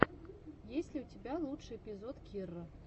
есть ли у тебя лучший эпизод кирра